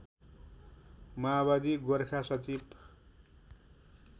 माओवादी गोरखा सचिव